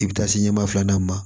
I bɛ taa se ɲɛma filanan ma